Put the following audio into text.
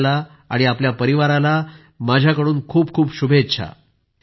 आपल्याला आपल्या परिवाराला माझ्या खूप खूप शुभेच्छा